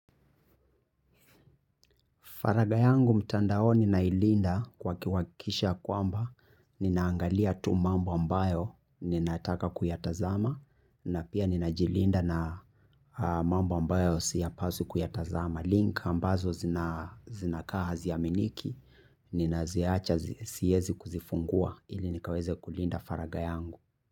Faraga yangu mtandao ninailinda kwa kiwakisha kwamba ninaangalia tu mambo ambayo ninaataka kuyatazama na pia ninajilinda na mambo ambayo siapaswi kuyatazama. Link ambazo zinakaa haziyaminiki, ninaziacha siezi kuzifungua ili nikaweze kulinda faraga yangu.